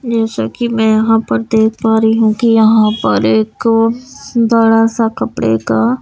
जैसा कि मैं यहां पर देख पा रही हूं कि यहां पर एक बड़ा सा कपड़े का--